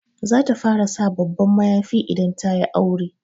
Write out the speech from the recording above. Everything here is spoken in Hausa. Za ta fara sa babban mayafi idan ta yi aure.